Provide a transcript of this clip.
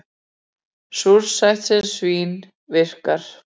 Súrsætt sem svín-virkar